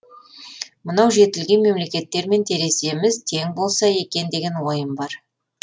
мынау жетілген мемлекеттермен тереземіз тең болса екен деген ойым бар